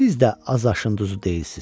Siz də az aşın duzu deyilsiz.